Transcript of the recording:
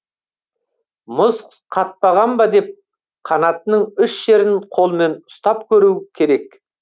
мұз қатпаған ба деп қанатының үш жерін қолмен ұстап көруі керек